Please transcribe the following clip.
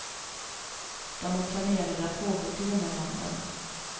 De är planerade att pågå till och med måndag.